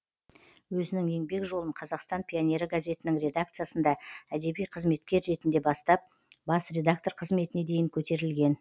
өзінің еңбек жолын қазақстан пионері газетінің редакциясында әдеби қызметкер ретінде бастап бас редактор қызметіне дейін көтерілген